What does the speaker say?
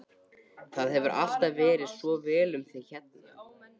Það hefur alltaf farið svo vel um þig hérna.